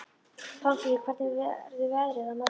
Pálmfríður, hvernig verður veðrið á morgun?